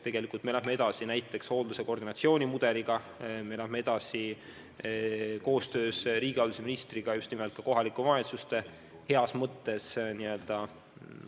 Tegelikult me läheme edasi näiteks hoolduse koordinatsiooni mudeliga, me läheme edasi koostöös riigihalduse ministriga kohalike omavalitsuste heas mõttes